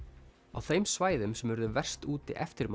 á þeim svæðum sem urðu verst úti eftir